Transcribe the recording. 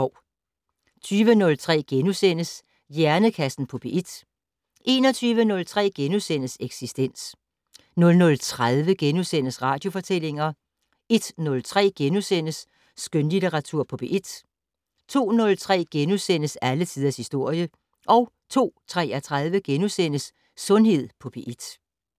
20:03: Hjernekassen på P1 * 21:03: Eksistens * 00:30: Radiofortællinger * 01:03: Skønlitteratur på P1 * 02:03: Alle tiders historie * 02:33: Sundhed på P1 *